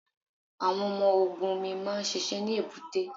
Àwọn ọmọ ogun omi máa ń ṣiṣẹ́ ní èbúté.